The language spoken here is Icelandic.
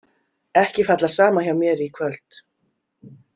Ekki falla saman hjá mér í kvöld.